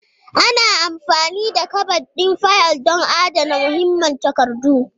Ana amfani da kabad ɗin fayil don adana muhimman takardu.